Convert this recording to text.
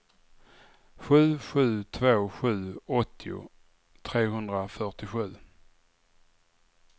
sju sju två sju åttio trehundrafyrtiosju